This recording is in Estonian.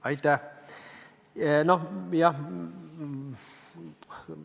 Aitäh!